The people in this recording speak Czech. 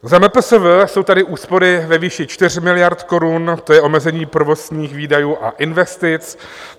Za MPSV jsou tady úspory ve výši 4 miliard korun, to je omezení provozních výdajů a investic.